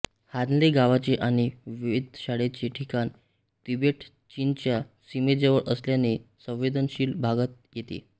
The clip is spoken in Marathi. हानले गावाचे आणि वेधशाळेचे ठिकाण तिबेटचीनच्या सीमेजवळ असल्याने संवेदनशील भागात येते